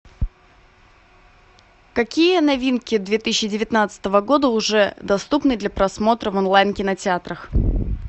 какие новинки две тысячи девятнадцатого года уже доступны для просмотра в онлайн кинотеатрах